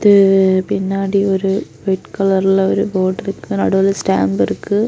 ம் பின்னாடி ஒரு வைட் கலர்ல ஒரு போர்டு இருக்கு நடுவுல ஸ்டாம்ப் இருக்கு.